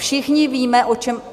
Všichni víme, o čem...